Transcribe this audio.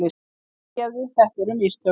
Fyrirgefðu, þetta voru. mistök.